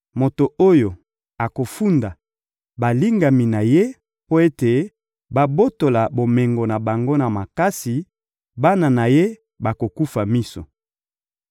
Moto oyo akofunda balingami na ye mpo ete babotola bomengo na bango na makasi, bana na ye bakokufa miso.